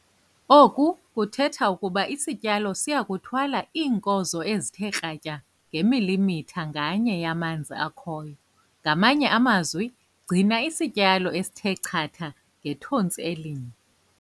Oku kuthetha ukuba isityalo siya kuthwala iinkozo ezithe kratya ngemilimitha nganye yamanzi akhoyo - ngamanye amazwi gcina 'isityalo esithe chatha ngethontsi elinye'!